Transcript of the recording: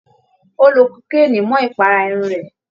Ó lo kokéènì mọ́ ìpara irun rẹ̀